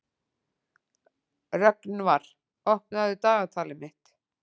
Rögnvar, opnaðu dagatalið mitt.